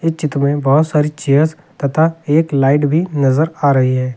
इस चित्र में बहुत सारी चेयर्स तथा एक लाइट भी नजर आ रही है।